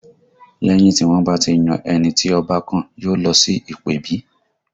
Lẹ́yìn tí wọ́n bá ti yan ẹni tí Ọba kàn, yóò lọ sí ìpèbí